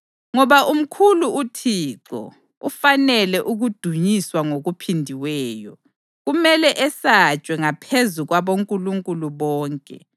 Ngoba umkhulu uThixo, ufanele ukudunyiswa ngokuphindiweyo; kumele esatshwe ngaphezu kwabonkulunkulu bonke.